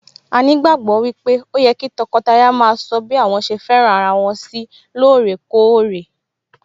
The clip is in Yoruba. A ní ìgbàgbọ́ wípé ó yẹ kí tọkọtaya maa sọ bí àwọn ṣe fẹ́ràn ara wọn sí lóòrèkórè